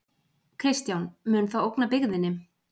Kristján: Mun það ógna byggðinni?